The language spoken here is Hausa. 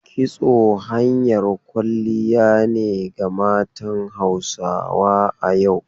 Kitso hanyar kwalliya ne ga matan Hausa a yau.